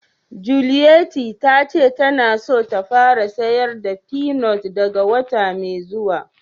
Juliette ta ce ta na so ta fara sayar da peanut daga wota mai zuwa.